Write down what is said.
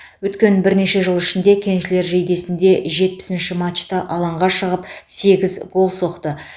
өткен бірнеше жыл ішінде кеншілер жейдесінде жетпісінші матчта алаңға шығып сегіз гол соқты